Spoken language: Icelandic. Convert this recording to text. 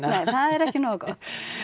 það er ekki nógu gott